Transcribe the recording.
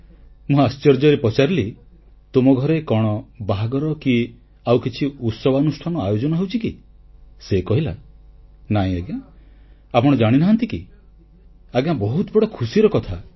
ମୁଁ ଆଶ୍ଚର୍ଯ୍ୟରେ ପଚାରିଲି ତୁମ ଘରେ କଣ ବାହାଘର କି ଆଉ କିଛି ଉତ୍ସବାନୁଷ୍ଠାନ ଆୟୋଜନ ହେଉଛି କି ସେ କହିଲା ନାଇ ଆଜ୍ଞା ଆପଣ ଜାଣିନାହାନ୍ତି କି ଆଜ୍ଞା ବହୁତ ବଡ଼ ଖୁସିର କଥା